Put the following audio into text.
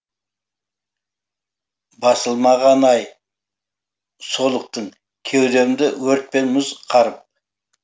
басылмағаны ай солықтың кеудемді өрт пен мұз қарып